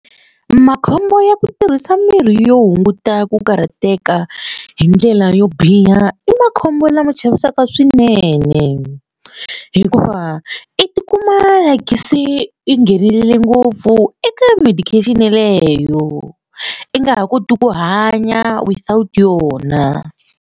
Makhombo ya ku tirhisa mirhi yo hunguta ku karhateka hi ndlela yo biha i makhombo lama chavisaka swinene hikuva i tikuma like se i nghenelerile ngopfu eka medication yaleyo i nga ha koti ku hanya without yona.